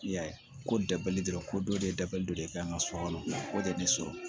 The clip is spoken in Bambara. I y'a ye ko dabali dɔrɔn ko dɔ de ye dabalide kan ka so kɔnɔ o de ye ne so